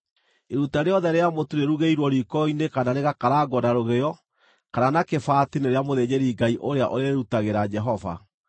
Iruta rĩothe rĩa mũtu rĩrugĩirwo riiko-inĩ kana rĩgakarangwo na rũgĩo kana na kĩbaati nĩ rĩa mũthĩnjĩri-Ngai ũrĩa ũrĩrĩrutagĩra Jehova,